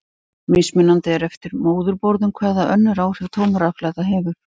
Mismunandi er eftir móðurborðum hvaða önnur áhrif tóm rafhlaða hefur.